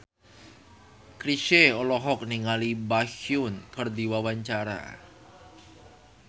Chrisye olohok ningali Baekhyun keur diwawancara